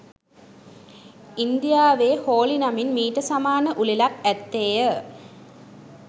ඉන්දියාවේ හෝලි නමින් මීට සමාන උළෙලක් ඇත්තේය